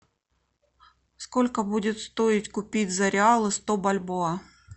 сколько будет стоить купить за реалы сто бальбоа